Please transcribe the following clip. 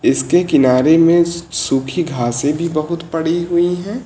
इसके किनारे में सूखी घासें भी बहुत पड़ी हुई हैं।